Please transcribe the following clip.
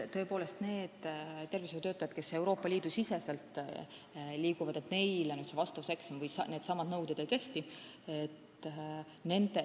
Tõepoolest, nendele tervishoiutöötajatele, kes Euroopa Liidu siseselt liiguvad, vastavuseksami nõuded ei kehti.